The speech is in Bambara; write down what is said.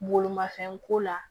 Bolimafɛn ko la